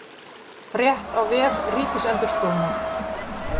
Frétt á vef Ríkisendurskoðunar